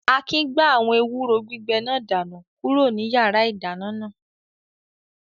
Akin gbá àwọn ewúro gbígbẹ náà dànù kúrò ní yàrá-ìdáná náà